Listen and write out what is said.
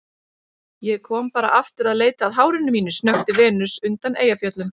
Ég kom bara aftur að leita að hárinu mínu, snökti Venus undan Eyjafjöllum.